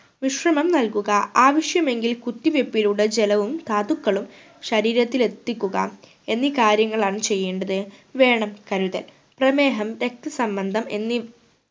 വിശ്രമം നൽകുക ആവശ്യമെങ്കിൽ കുത്തിവെപ്പിലൂടെ ജലവും ധാതുക്കളും ശരീരത്തിൽ എത്തിക്കുക എന്നീ കാര്യങ്ങളാണ് ചെയ്യേണ്ടത് വേണം കരുതൽ പ്രമേഹം രക്ത സമ്മന്തം എന്നീ